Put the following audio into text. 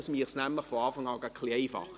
Damit würde es von Anfang an etwas einfacher.